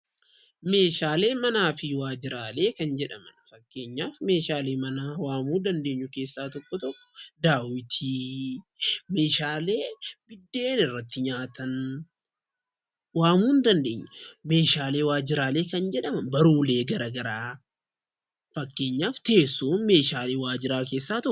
Meeshaalee manaa fi waajjiraalee kan jedhaman fakkeenyaaf meeshaalee manaa waamuu dandeenyu keessaa tokko tokko: daawwitii, meeshaalee buddeen irratti nyaatan waamuu ni dandeenya. Meeshaalee waajjiraalee kan jedhaman barruulee garaa garaa fakkeenyaaf teessoon meeshaalee waajjiraa keessaa tokko.